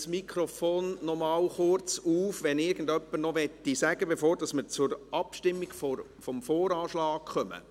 Ich öffne das Mikrofon nochmals, damit man sich noch äussern kann, bevor wir zur Abstimmung über den VA kommen.